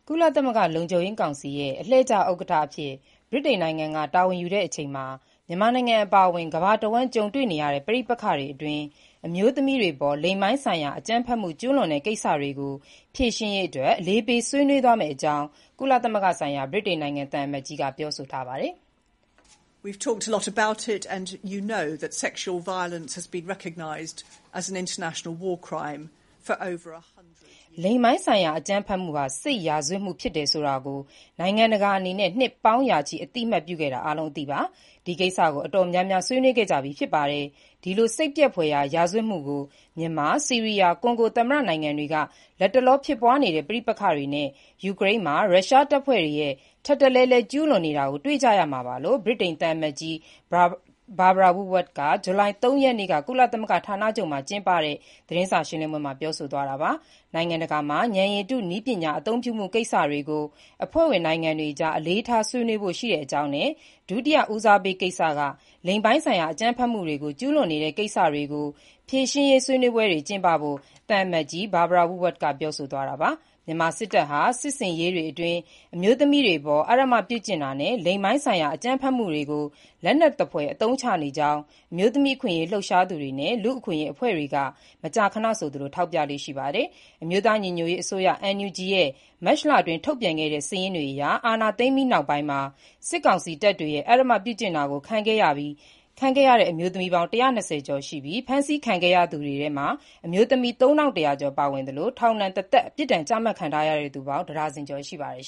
ကုလသမဂ္ဂ လုံခြုံရေးကောင်စီ အလှည့်ကျ ဥက္ကဋ္ဌအဖြစ် တာဝန်ယူတဲ့အချိန်မှာ မြန်မာနိုင်ငံအပါအဝင် ကမ္ဘာတဝှမ်း ကြုံနေရတဲ့ ပဋိပက္ခတွေအတွင်း အမျိုးသမီးတွေအပေါ် လိင်ပိုင်းဆိုင်ရာ အကြမ်းဖက်မှု ကျုးလွန်တဲ့ ကိစ္စတွေ ဖြေရှင်းရေး အလေးပေး ဆွေးနွေးသွားမယ့်အကြောင်း ကုလသမဂ္ဂဆိုင်ရာ ဗြိတိန်နိုင်ငံ သံအမတ်ကြီးက ပြောဆိုပါတယ်။ "လိင်ပိုင်းဆိုင်ရာ အကြမ်းဖက်မှုဟာ စစ်ရာဇဝတ်မှု ဖြစ်တယ်ဆိုတာကို နိုင်ငံတကာ အနေနဲ့ နှစ်ပေါင်းရာချီ အသတ်မှတ်ပြုခဲ့တာ အားလုံး အသိပါ။ ဒီကိစ္စကို အတော်များများ ဆွေးနွေးခဲ့ကြပြီး ဖြစ်ပါတယ်။ ဒီလို စိတ်ပျက်ဖွယ်ရာ ရာဇဝတ်မှုကို မြန်မာ၊ ဆီးရီးယား၊ ကွန်ဂို သမ္မတ နိုင်ငံတွေက လတ်တလော ဖြစ်ပွားနေတဲ့ ပဋိပက္ခတွေနဲ့ ယူကရိန်းမှာ ရုရှားတပ်ဖွဲ့တွေ ထပ်တလဲလဲ ကျုးလွန်နေကြတာ တွေ့ကြရမှာပါ"လို့ ဗြိတိန်သံအမတ်ကြီး Barbara Woodward က ဇူလိုင်လ ၃ ရက်နေ့က ကုလသမဂ္ဂ ဌာနချုပ်မှာကျင်းပတဲ့ သတင်းစာရှင်းလင်းပွဲမှာ ပြောဆိုသွားတာပါ။ နိုင်ငံတကာအကြား ဉာဏ်ရည်တု နည်းပညာ အသုံးပြုမှုကိစ္စကို အဖွဲ့ဝင်နိုင်ငံတွေအကြား အလေးထား ဆွေးနွေးဖို့ ရှိတဲ့အကြောင်းနဲ့ ဒုတိယ ဦးစားပေးကိစ္စက လိင်ပိုင်းဆိုင်ရာ အကြမ်းဖက်မှုတွေ ကျုးလွန်နေတဲ့ကိစ္စ ဖြေရှင်းရေး ဆွေးနွေးပွဲတွေ ကျင်းပဖို့ သံအမတ်ကြီး Barbara Woodward ပြောဆိုသွားတာပါ။ မြန်မာစစ်တပ်ဟာ စစ်ဆင်ရေးတွေအတွင်း အမျိုးသမီးတွေအပေါ် အဓမ္မပြုကျင့်တာနဲ့ လိင်ပိုင်းဆိုင်ရာ အကြမ်းဖက်မှုတွေကို လက်နက်သဖွယ် အသုံးချနေတဲ့အကြောင်း အမျိုးသမီးခွင့်အရေးလှုပ်ရှားသူတွေနဲ့ လူ့အခွင့်အရေးအဖွဲ့တွေက မကြာခဏ ထောက်ပြလေ့ရှိပါတယ်။ အမျိုးသား ညီညွတ်ရေးအစိုးရ NUG ရဲ့ မတ်လအတွင်း ထုတ်ပြန်ခဲ့တဲ့ စာရင်းတွေအရ အာဏာသိမ်းပြီးနောက်ပိုင်းမှာ စစ်ကောင်စီတပ်တွေရဲ့ အဓမ္မပြုကျင့်တာ ခံခဲ့ရတဲ့ အမျိုးသမီး ၁၂၀ ကျော်ရှိပြီး ဖမ်းဆီးခဲ့ရသူတွေထဲမှာ အမျိုးသမီး ၃၁၀၀ ကျော် ပါဝင်သလို ထောင်ဒဏ်တသက် ပြစ်ဒဏ်ချမှတ်ခံထားရသူ တဒါဇင်ကျော် ရှိပါတယ်